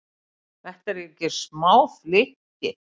Þetta eru ekki smá flykki?